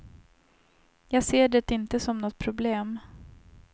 Jag ser det inte som något problem.